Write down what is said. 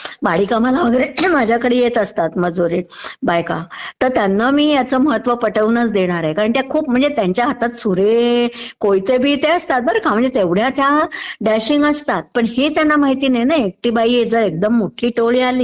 माळी कामाला वगैरे माझ्याकडे येत असतात मजूर वगैरे बायका. तर त्यांना मी ह्यंचं महत्त्व पटवूनच देणारे, कारण त्या खूप...म्हणजे त्यांच्या हातात सुरे वगैरे, कोयते बियते असतात बर का...म्हणजे तेवढ्या त्या डॅशिग असतात पण त्यांना माहिती नाही ना एकटी बाई आहे तर मोठी टोळी आली